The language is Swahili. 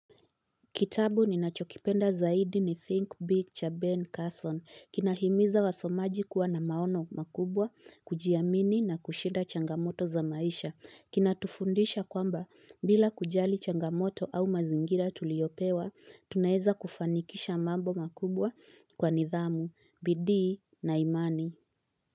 Kitabu ninachokipenda zaidi ni Think Big cha Ben Carson. Kinahimiza wasomaji kuwa na maono makubwa, kujiamini na kushida changamoto za maisha. Kinatufundisha kwamba, bila kujali changamoto au mazingira tuliopewa tunaeza kufanikisha mambo makubwa kwa nidhamu, bidii na imani.